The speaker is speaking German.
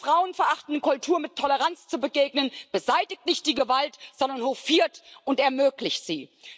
Einer frauenverachtenden Kultur mit Toleranz zu begegnen, beseitigt nicht die Gewalt, sondern hofiert und ermöglicht sie.